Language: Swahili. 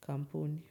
kampuni.